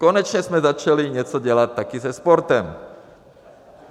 Konečně jsme začali něco dělat taky se sportem.